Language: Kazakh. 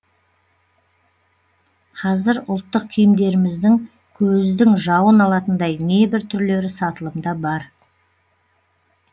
қазір ұлттық киімдеріміздің көздің жауын алатындай небір түрлері сатылымда бар